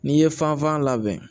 N'i ye fanfan labɛn